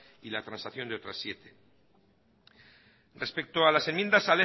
y la transacción de otras siete respecto a las enmiendas